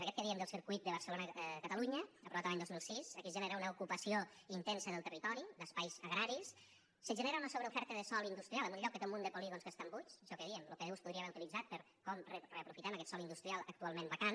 en aquest que diem del circuit de barcelonacatalunya aprovat l’any dos mil sis aquí es genera una ocupació intensa del territori d’espais agraris se genera una sobreoferta de sòl industrial en un lloc que té un munt de polígons que estan buits això que dèiem lo pdu es podria haver utilitzat per a com reaprofitem aquest sòl industrial actualment vacant